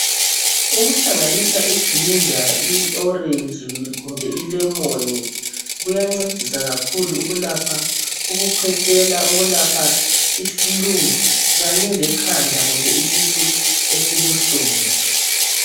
Ukuhlanganisa ijinja iorentshi kumbe ilemoni kuyancedisa kakhulu ukulapha ukukhwehlela, ukulapha iflue kanye lekhanda kumbe isisu esibuhlungu.